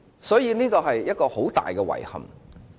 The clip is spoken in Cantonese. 所以，這是一個很大的遺憾。